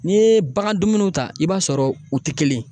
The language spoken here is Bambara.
N'i ye bagan dumuniw ta i b'a sɔrɔ u tɛ kelen ye